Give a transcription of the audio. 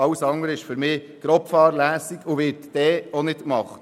Alles andere ist für mich grobfahrlässig und wird nicht gemacht.